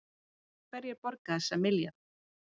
Hverjir borga þessa milljarða